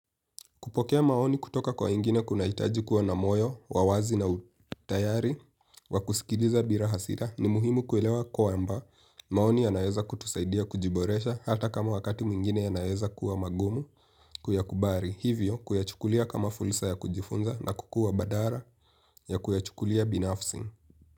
Kupokea maoni kutoka kwa ingine kunaitaji kuwa na moyo, wa wazi na utayari, wa kusikiliza bila hasira ni muhimu kuelewa kwamba maoni yanaeza kutusaidia kujiboresha hata kama wakati mwingine yanaeza kuwa magumu kuyakubali. Hivyo kuyachukulia kama fulsa ya kujifunza na kukua badala ya kuyachukulia binafsi.